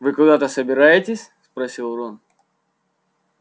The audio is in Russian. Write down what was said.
вы куда-то собираетесь спросил рон